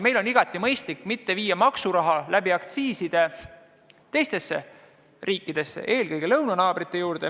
Meil on igati mõistlik mitte anda aktsiisidest laekuvat maksuraha teistele riikidele, eelkõige lõunanaabritele.